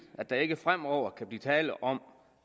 at der ikke fremover kan blive tale om